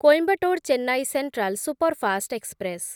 Coimbatore Chennai central superfast express